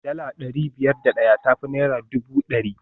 Dala dari biyar da daya ta fi naira dubu dari